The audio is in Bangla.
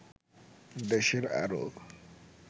দেশের আরও